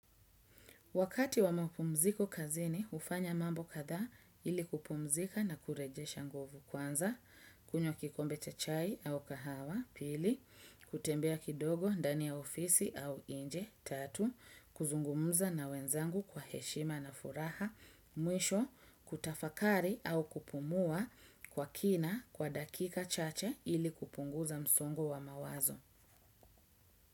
Wakati wa maupumziko kazini, hufanya mambo kadhaa ili kupumzika na kurejesha nguvu. Kwanza, kunywa kikombe cha chai au kahawa, pili, kutembea kidogo, ndani ya ofisi au inje, tatu, kuzungumuza na wenzangu kwa heshima na furaha, mwisho, kutafakari au kupumua kwa kina kwa dakika chache ili kupunguza msongo wa mawazo.